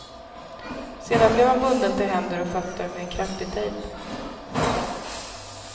Sedan blev han bunden till händer och fötter med en kraftig tejp.